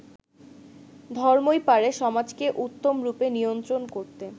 ধর্মই পারে সমাজকে উত্মম রূপে নিয়ন্ত্রণ করতে।